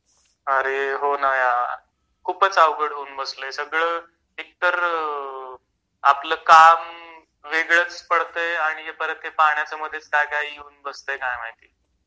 अरे हो ना यार खूपच अवघड होऊन बसलय सगळ एकतर आपल काम वेगळंच पडतंय आणि परत हे पाण्याच मधेच काय काय येऊन बसतय काय माहिती